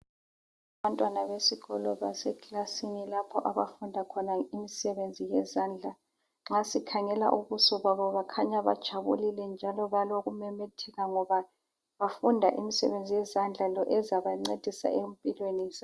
Abantwana besikolo base clasini lapho abafunda khona imisebenzi yezandla nxa sikhangela ubuso babo bakhanya bajabulile njalo balokumemetheka ngoba bafunda imisebenzi yezandla lo ezabanceda empilweni zabo